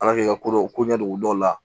Ala kɛ ko dɔ ko ɲɛ don dɔw la